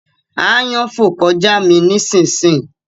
Àyàn fò kọjá mí ni sìn sìn